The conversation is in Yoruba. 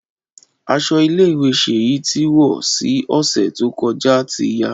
Aṣọ ile-iwe Seyi ti wọ si ọsẹ to kọja ti ya.